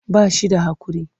Ba shi da haƙuri.